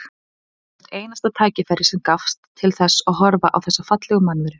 Ég notaði hvert einasta tækifæri sem gafst til þess að horfa á þessa fallegu mannveru.